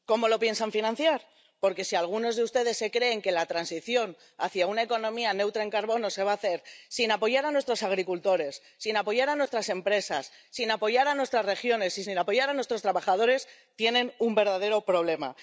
¿Cómo lo piensan financiar? Porque si algunos de ustedes se creen que la transición hacia una economía neutra en carbono se va a hacer sin apoyar a nuestros agricultores, sin apoyar a nuestras empresas, sin apoyar a nuestras regiones y sin apoyar a nuestros trabajadores, tienen un verdadero problema.